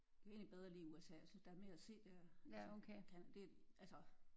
Jeg kan egentlig bedre lide USA jeg synes der er mere at se der altså end det altså